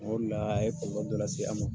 Ole la a ye dɔ lase an ma.